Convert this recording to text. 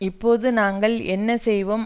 இப்போது நாங்கள் என்ன செய்வோம்